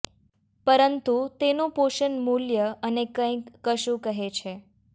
પરંતુ તેનું પોષણ મૂલ્ય અને કંઈ કશું કહે છે